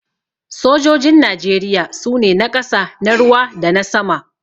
Sojojin Najeriya su ne: na ƙasa, na ruwa dana sama.